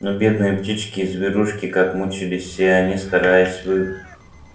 но бедные птички и зверушки как мучились все они стараясь вы